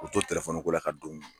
U to ko la ka don